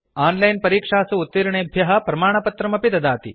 on line परीक्षासु उत्तीर्णेभ्यः प्रमाणपत्राणि ददाति